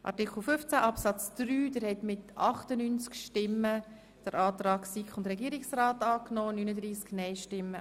Der Grosse Rat nimmt den Antrag SiK und Regierungsrat zu Artikel 15 Absatz 3 an.